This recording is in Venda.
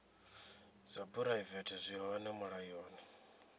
dza phuraivete zwi hone mulayoni